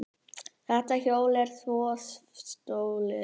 Þetta hjól er þjófstolið!